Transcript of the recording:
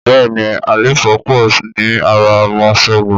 Bẹ́ẹ̀ni àléfọ́ pọ̀ ní ara ọmọ Ṣẹ́gun